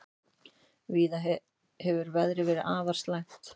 Víða hefur veður verið afar slæmt